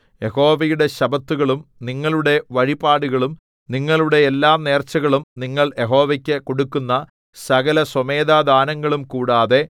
യഹോവയുടെ ശബ്ബത്തുകളും നിങ്ങളുടെ വഴിപാടുകളും നിങ്ങളുടെ എല്ലാ നേർച്ചകളും നിങ്ങൾ യഹോവയ്ക്കു കൊടുക്കുന്ന സകല സ്വമേധാദാനങ്ങളും കൂടാതെ